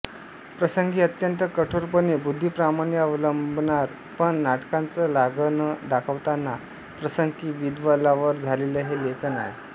प्रसंगी अत्यंत कठोरपणे बुद्धिप्रामाण्य अवलंबणारं पण नाटकाचं लागणं दाखवताना प्रसंगी विद्धअलवार झालेलं हे लेखन आहे